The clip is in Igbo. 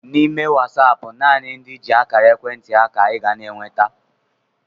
N'ime Wasaapụ nanị ndị i ji akara ekwentị ha ka I ga n'enweta